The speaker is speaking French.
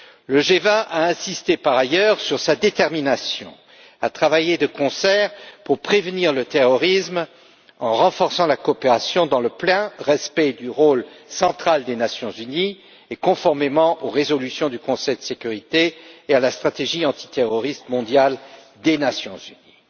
Le G20 a insisté, par ailleurs, sur sa détermination à travailler de concert pour prévenir le terrorisme en renforçant la coopération dans le plein respect du rôle central des Nations unies et conformément aux résolutions du Conseil de sécurité et à la stratégie antiterroriste mondiale des Nations unies.